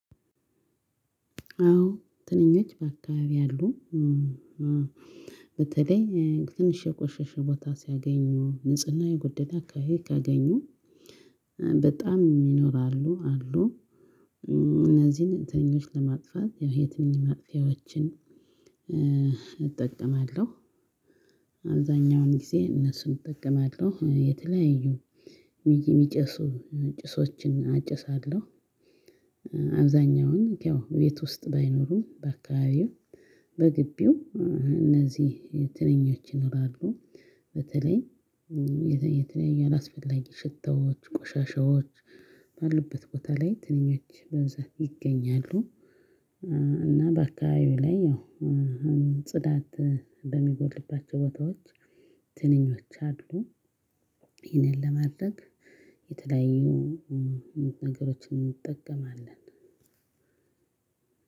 አዎ ትንኞች በአካባቢ አሉ በተለይ ትንሽ የቆሸሸ ቦታ ሲያገኙ ንጽህና የጎደለ አከባቢ ካገኙ በጣም ይኖራሉ አሉ እነዚህን ትንኞች ለማጥፋት የትንኝ ማጥፊያዎችን እጠቀማለሁ አብዛኛውን ጊዜ እነሱን እጠቀማለሁ የተለያዩ የሚጨሱ ጭሶችን አጨሳለሁ አብዛኛውን ያው ቤት ውስጥ ባይኖሩ በአካባቢው በግቢው እነዚህ ትንኞች ይኖራሉ በተለይ የተለያየ አላስፈላጊ ሽታዎች ቆሻሻዎች ባሉበት ቦታ ላይ ትንኞች በብዛት ይገኛሉ። እና በአካባቢው ላይ ያው ጽዳት በሚጎድልባቸው ቦታዎች ትንኞች አሉ ይሄንን ለማድረግ የተለያዩ ነገሮችን እንጠቀማለን።